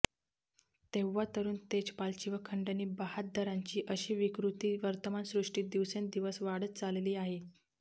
तेव्हा तरुण तेजपालची व खंडणी बहाद्दरांची अशी विकृती वर्तमानसृष्टीत दिवसेंदिवस वाढत चालली आहे